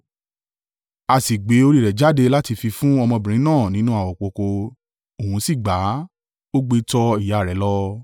A sì gbé orí rẹ̀ jáde láti fi fún ọmọbìnrin náà nínú àwopọ̀kọ́, òun sì gbà á, ó gbé e tọ ìyá rẹ̀ lọ.